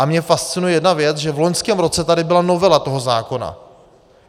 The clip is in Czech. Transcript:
A mě fascinuje jedna věc, že v loňském roce tady byla novela toho zákona.